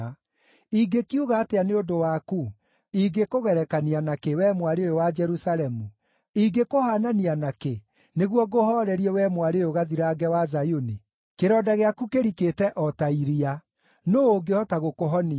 Ingĩkiuga atĩa nĩ ũndũ waku? Ingĩkũgerekania nakĩ, wee Mwarĩ ũyũ wa Jerusalemu? Ingĩkũhaanania nakĩ, nĩguo ngũhoorerie, wee Mwarĩ ũyũ Gathirange wa Zayuni? Kĩronda gĩaku kĩrikĩte o ta iria. Nũũ ũngĩhota gũkũhonia?